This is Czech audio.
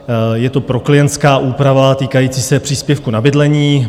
Je to proklientská úprava týkající se příspěvku na bydlení.